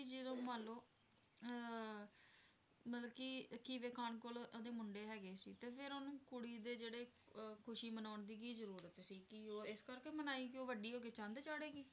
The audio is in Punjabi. ਵੀ ਜਦੋਂ ਮੰਨ ਲਓ ਅਹ ਮਤਲਬ ਕਿ ਖੀਵੇ ਖ਼ਾਨ ਕੋਲ ਉਹਦੇ ਮੁੰਡੇ ਹੈਗੇ ਸੀ ਤੇ ਫਿਰ ਉਹਨੂੰ ਕੁੜੀ ਦੇ ਜਿਹੜੇ ਅਹ ਖ਼ੁਸ਼ੀ ਮਨਾਉਣ ਦੀ ਕੀ ਜ਼ਰੂਰਤ ਸੀ ਕਿ ਉਹ ਇਸ ਕਰਕੇ ਮਨਾਈ ਕਿ ਉਹ ਵੱਡੀ ਹੋ ਕੇ ਚੰਦ ਚਾੜੇਗੀ।